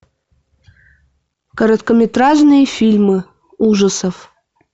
короткометражные фильмы ужасов